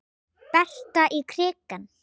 Berta í krikann?